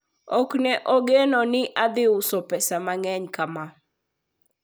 ok ne ageno ni adhi uso pesa mang, eny kama